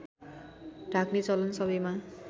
ढाक्ने चलन सबैमा